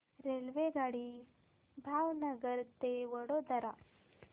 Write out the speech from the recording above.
रेल्वेगाडी भावनगर ते वडोदरा